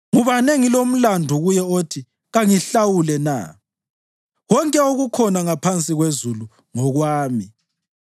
Ngubani engilomlandu kuye othi kangihlawule na? Konke okukhona ngaphansi kwezulu ngokwami.